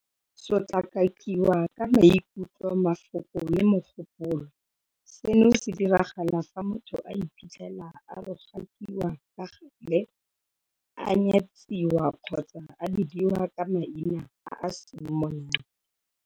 Sotlakakiwa ka maikutlo, mafoko le mogopolo - Seno se diragala fa motho a iphitlhela a rogakiwa ka gale, a nyatsiwa kgotsa a bidiwa ka maina a a seng monate.